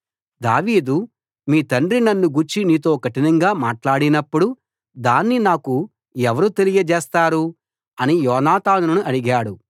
దావీదు మీ తండ్రి నన్నుగూర్చి నీతో కఠినంగా మాట్లాడినప్పుడు దాన్ని నాకు ఎవరు తెలియచేస్తారు అని యోనాతానును అడిగాడు